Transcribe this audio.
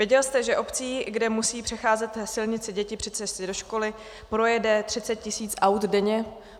Věděl jste, že obcí, kde musí přecházet silnici děti při cestě do školy, projede 30 tisíc aut denně?